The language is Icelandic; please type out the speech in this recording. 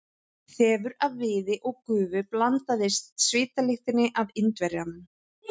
Þefur af viði og gufu blandaðist svitalyktinni af Indverjanum.